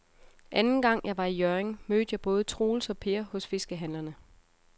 Anden gang jeg var i Hjørring, mødte jeg både Troels og Per hos fiskehandlerne.